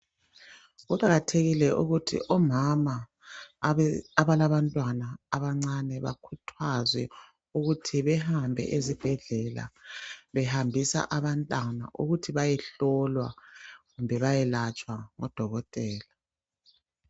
Kuqakathekile ukuthi omama abalabantwana abancane bakhuthazwe ukuthi behambe ezibhedlela, behambisa abantwana ukuthi beyehlolwa kumbe bayelatshwa ngodokotela.